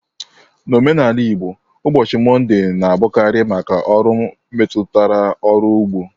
N'omenala Igbo, ụbọchị Mọnde na-abụkarị maka ọrụ metụtara ọrụ ugbo.